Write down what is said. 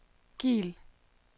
Kiel